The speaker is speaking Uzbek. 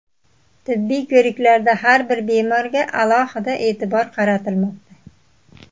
Tibbiy ko‘riklarda har bir bemorga alohida e’tibor qaratilmoqda.